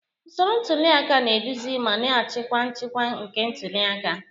Usoro ntuli aka na-eduzi ma na-achịkwa nchịkwa nke ntuli aka.